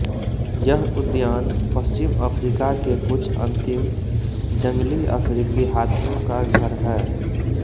यह उद्यान पश्चिम अफ्रीका के कुछ अंतिम जंगली अफ्रीकी हाथियों का घर है